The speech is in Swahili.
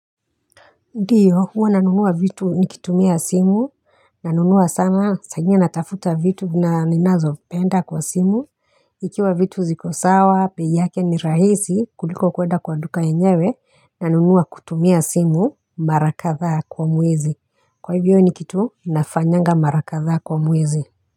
Ndiyo, huwa nanunua vitu nikitumia simu, nanunua sana saa ingine natafuta vitu ninazopenda kwa simu, ikiwa vitu ziko sawa, bei yake ni rahisi kuliko kwenda kwa duka yenyewe, nanunua kutumia simu mara kadhaa kwa mwezi. Kwa hivyo ni kitu, nafanyanga mara kadhaa kwa mwezi.